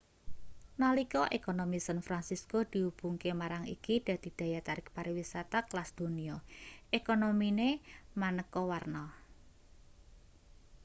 nalika ekonomi san fransisko dihubungke marang iki dadi daya tarik pariwisata kelas donya ekonomine maneka-warna